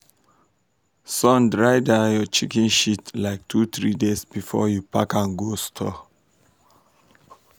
sun dry that your chicken shit like two three days before you park am go store.